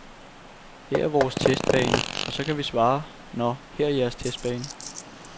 Her er vores testbane, og så kan vi svare nå, her er jeres testbane.